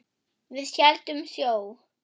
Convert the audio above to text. Við héldum sjó.